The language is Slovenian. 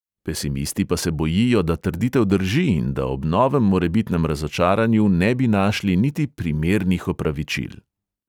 Pesimisti pa se bojijo, da trditev drži in da ob novem morebitnem razočaranju ne bi našli niti primernih opravičil.